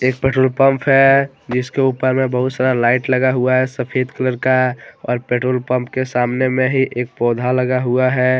एक petrol pump है जिसके ऊपर में बहुत सारा लाइट लगा हुआ है सफेद कलर का और पेट्रोल पंप के सामने में ही एक पौधा लगा हुआ है।